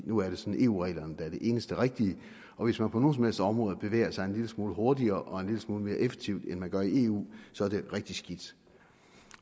nu er det sådan eu reglerne der er det eneste rigtige og hvis man på nogen som helst områder bevæger sig en lille smule hurtigere og en lille smule mere effektivt end man gør i eu så er det rigtig skidt